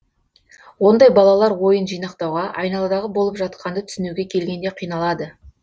ондай балалар ойын жинақтауға айналадағы болып жатқанды түсінуге келгенде қиналады